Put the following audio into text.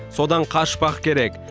содан қашпақ керек